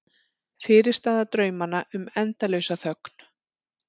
Fyrirstaða draumanna um endalausa þögn.